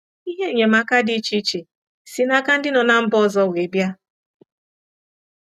Ihe enyemaka dị iche iche si n'aka ndị nọ na mba ọzọ were bịa.